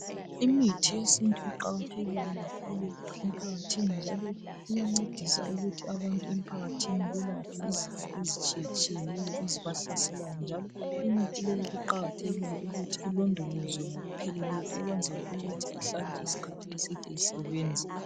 Imithi yesintu iqakathekile kakhulu emphakathini njalo iyancedisa ukuthi abantu emphakathini ezitshiyeneyo ezibahlaselayo njalo imithi leyi kuqakathekile ukuthi ilondolozwe ngokupheleleyo ukwenzela ukuthi ihlale isikhathi eside isebenza